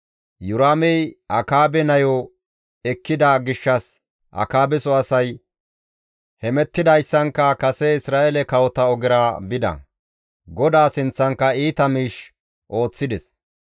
Iyoraamey Akaabe nayo ekkida gishshas Akaabeso asay hemettidayssankka kase Isra7eele kawota ogera bides; GODAA sinththankka iita miish ooththides.